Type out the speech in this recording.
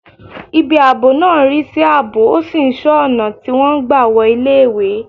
Ibi ààbò náà ń rí sí ààbò, ó sì ń ṣọ́ ọ̀nà tí wọ́n ń gbà wọ iléèwé